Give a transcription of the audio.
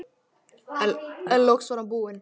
En loks var hann búinn.